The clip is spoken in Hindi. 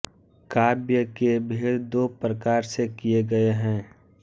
काव्य के भेद दो प्रकार से किए गए हैं